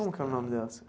Como que é o nome dela.